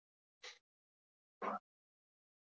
Tvö önnur stökk hans voru ógild